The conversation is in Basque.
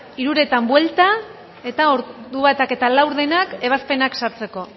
hiruretan buelta eta ordu batak eta laurdenak ebazpenak sartzeko